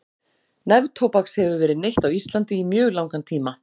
Neftóbaks hefur verið neytt á Íslandi í mjög langan tíma.